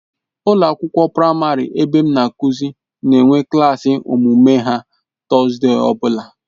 Ụlọ akwụkwọ praịmarị ebe m na-akụzi na-enwe klaasị omume ha Tọzdee ọbụla.